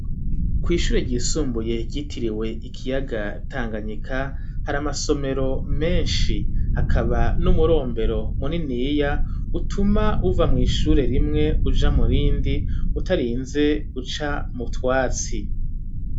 Kw'ishure ryisumbuye gitiriwe ikiyaga tanganyika, hari amasomero menshi hakaba n'umurombero muniniya utuma uva mw'ishure rimwe uja murindi utarinze uca mu twatsi.